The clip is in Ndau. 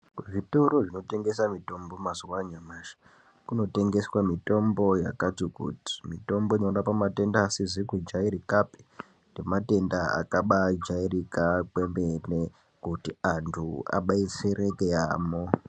Kuzvitoro zvinotengesa mutombo mazuwa anyamashi kunotengeswe mitombo yakatikuti mutombo inorapa matenda asizi kudyairikapi nematenda akabajairika kwemene kuti antu abetsereke yamho.